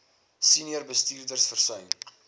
senior bestuurders versuim